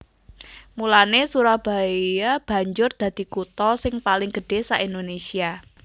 Mulanè Surabaya banjur dadi kutha sing paling gedhé sak Indonésia